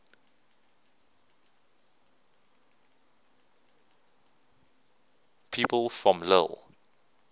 people from lille